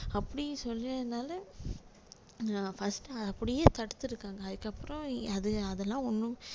அப்படி சொன்னதுனால நான் first அப்படியே தடுத்திருக்காங்க அதுக்கப்புறம் அது~ அதெல்லாம் ஒண்ணும்